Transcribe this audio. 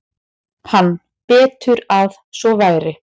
Hann: Betur að svo væri.